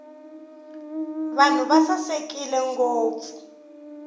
vanhu va sasekile ngopfu